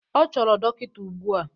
Ọ chọrọ dọkịta ugbu a!